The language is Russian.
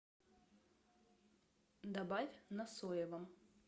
добавь на соевом